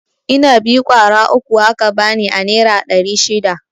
Inabi ƙwara uku aka bani a nera ɗari shida.